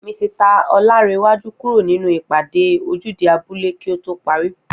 Misita Oláńrewájú kúrò nínú ìpàdé ojúde abúlé kí á to parí